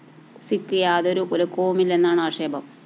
സിക്ക് യാതൊരു കുലുക്കവുമില്ലെന്നാണ് ആക്ഷേപം